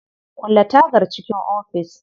Kulle tagar cikin ofis.